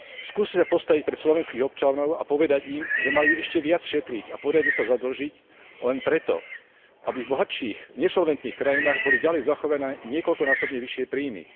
skúste sa postaviť pred slovenských občanov a povedať im, že majú ešte viac šetriť a poriadne sa zadlžiť len preto, aby v bohatších, nesolventných krajinách boli naďalej zachované niekoľkonásobne vyššie príjmy.